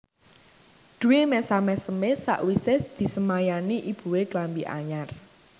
Dwi mesam mesem e sakwise disemayani ibue klambi anyar